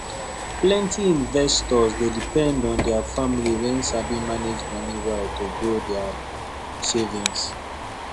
plenty investors dey depend on their family wey sabi manage money well to grow their savings